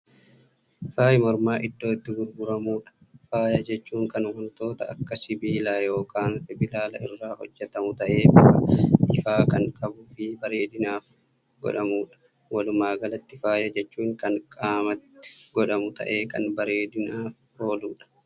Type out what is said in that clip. Faayi mormaa iddoo itti gurguramuudha. faaya jechuun Kan wantoota Akka sibiilaa yookaan sibilaaalaa irraa hojjatamu ta'ee bifa ifaa Kan qabuufi bareeedinaaf godhatamuudha. walumaagalatti faaya jechuun Kan qaamatti godhatamu taa'ee Kan bareedinaaf oolu jechuudha.